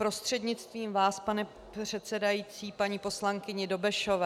Prostřednictvím vás, pane předsedající, paní poslankyni Dobešové.